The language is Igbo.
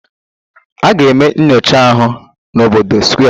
A ga-eme nyocha ahụ n'obodo Square